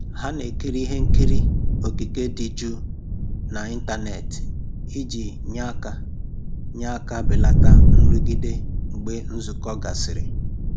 Ha na-ekiri ihe nkiri okike dị jụụ n'ịntanetị iji nye aka nye aka belata nrụgide mgbe nzukọ gasịrị